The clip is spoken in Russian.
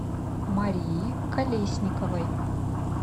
марии колесниковой